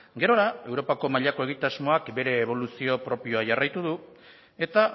gerora europako mailako egitasmoak bere eboluzio propioa jarraitu du eta